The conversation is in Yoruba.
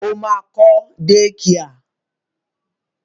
Ó ma kọ́ dékià.